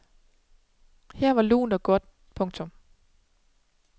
Her var lunt og godt. punktum